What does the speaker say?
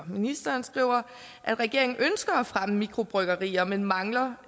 ministeren at regeringen ønsker at fremme mikrobryggerier men mangler